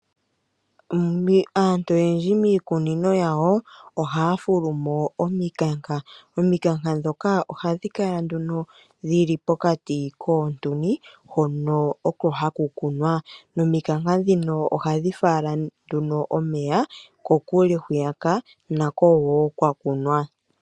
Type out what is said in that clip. Aantu oyendji miikunino yawo ohaya fulu mo omikanka. Omikanka ndhoka ohadhi kala nduno dhi li pokati kiimpungu hono oko haku kunwa. Nomikanka ndhika ohadhi fala omeya kokule hwiyaka nako wo kwa kunwa.